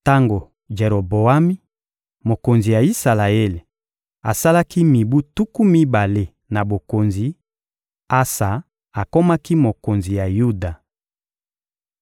Tango Jeroboami, mokonzi ya Isalaele, asalaki mibu tuku mibale na bokonzi, Asa akomaki mokonzi ya Yuda.